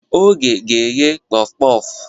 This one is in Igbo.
Oge ga-eghe Kpof-kpof.